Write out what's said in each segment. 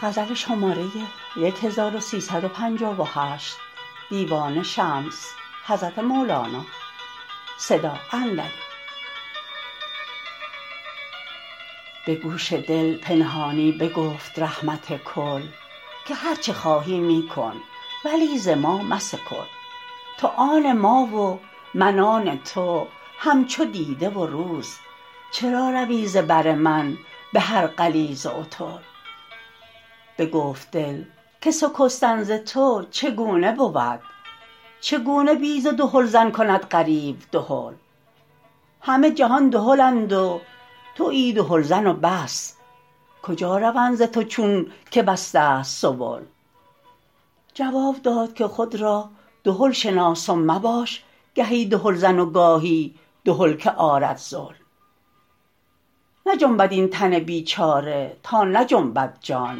به گوش دل پنهانی بگفت رحمت کل که هر چه خواهی می کن ولی ز ما مسکل تو آن ما و من آن تو همچو دیده و روز چرا روی ز بر من به هر غلیظ و عتل بگفت دل که سکستن ز تو چگونه بود چگونه بی ز دهلزن کند غریو دهل همه جهان دهلند و توی دهلزن و بس کجا روند ز تو چونک بسته است سبل جواب داد که خود را دهل شناس و مباش گهی دهلزن و گاهی دهل که آرد ذل نجنبد این تن بیچاره تا نجنبد جان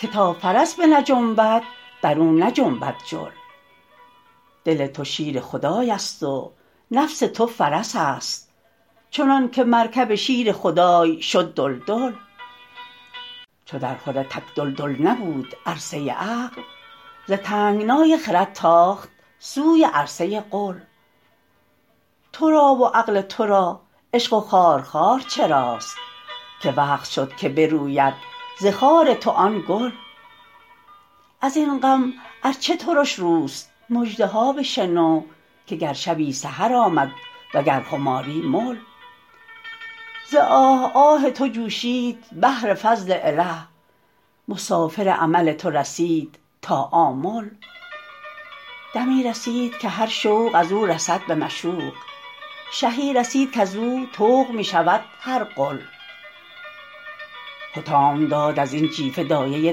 که تا فرس بنجنبد بر او نجنبد جل دل تو شیر خدایست و نفس تو فرس است چنان که مرکب شیر خدای شد دلدل چو درخور تک دلدل نبود عرصه عقل ز تنگنای خرد تاخت سوی عرصه قل تو را و عقل تو را عشق و خارخار چراست که وقت شد که بروید ز خار تو آن گل از این غم ار چه ترش روست مژده ها بشنو که گر شبی سحر آمد وگر خماری مل ز آه آه تو جوشید بحر فضل اله مسافر امل تو رسید تا آمل دمی رسید که هر شوق از او رسد به مشوق شهی رسید کز او طوق می شود هر غل حطام داد از این جیفه دایه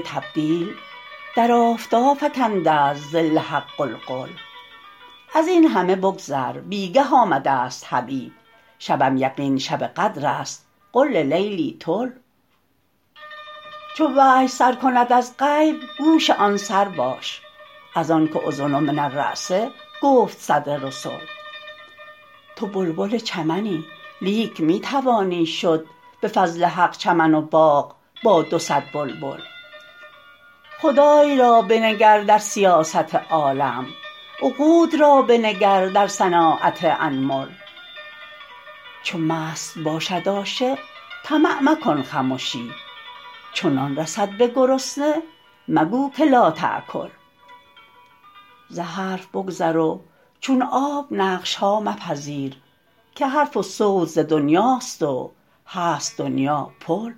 تبدیل در آفتاب فکنده ست ظل حق غلغل از این همه بگذر بی گه آمدست حبیب شبم یقین شب قدرست قل للیلی طل چو وحی سر کند از غیب گوش آن سر باش از آنک اذن من الراس گفت صدر رسل تو بلبل چمنی لیک می توانی شد به فضل حق چمن و باغ با دو صد بلبل خدای را بنگر در سیاست عالم عقول را بنگر در صناعت انمل چو مست باشد عاشق طمع مکن خمشی چو نان رسد به گرسنه مگو که لاتأکل ز حرف بگذر و چون آب نقش ها مپذیر که حرف و صوت ز دنیاست و هست دنیا پل